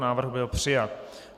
Návrh byl přijat.